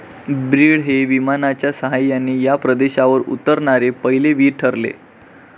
Breed हे विमानाच्या सहाय्याने या प्रदेशावर उतरणारे पहिले वीर ठरले.